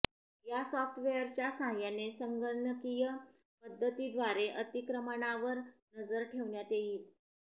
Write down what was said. या सॉफ्टवेअरच्या साहाय्याने संगणकीय पद्धतीद्वारे अतिक्रमणावर नजर ठेवण्यात येईल